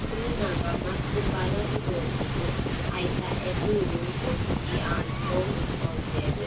ತೂನಗ ಮಸ್ತ್ ಪರತ್ ತೋಜುಂಡು ಐತ ಎದುರು ಒಂಜಿ ಆಂಜೊವು ಉಂತೊಂದೆರ್.